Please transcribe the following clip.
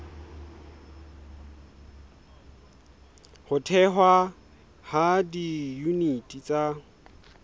ho thehwa ha diyuniti tsa